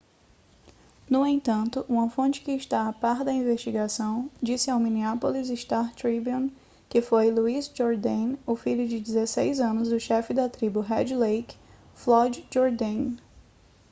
no entanto uma fonte que está a par da investigação disse ao minneapolis star-tribune que foi louis jourdain o filho de 16 anos do chefe da tribo red lake floyd jourdain